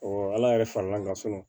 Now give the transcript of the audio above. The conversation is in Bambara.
ala yɛrɛ fara l'an kan fɔlɔ